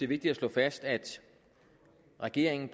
vigtigt at slå fast at regeringen